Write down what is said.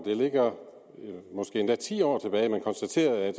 det ligger måske endda ti år tilbage at man konstaterede